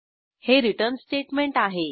हे return statement आहे